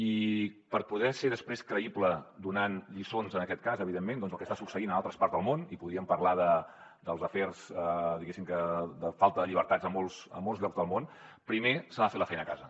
i per poder ser després creïble donant lliçons en aquest cas evidentment doncs al que està succeint a altres parts del món i podríem parlar dels afers diguéssim de falta de llibertats a molts llocs del món primer s’ha de fer la feina a casa